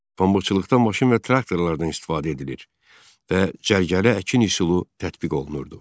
Pambıqçılıqdan maşın və traktorlardan istifadə edilir və cərgəli əkin üsulu tətbiq olunurdu.